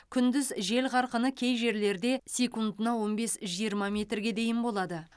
күндіз жел қарқыны кей жерлерде секундына он бес жиырма метрге дейін болады